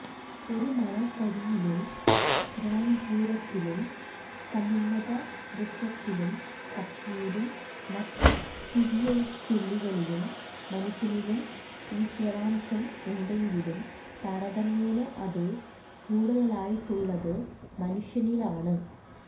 ഒരു മണൽത്തരിയിലും തൃണാങ്കുരത്തിലും സമുന്നതവൃക്ഷത്തിലും പക്ഷിയിലും മറ്റു തിര്യയക്കുകളിലും മനുഷ്യനിലും ഈശ്വരാംശം ഉണ്ടെങ്കിലും താരതമ്യേന അതു കൂടുതലായിട്ടുള്ളത് മനുഷ്യനിലാണ്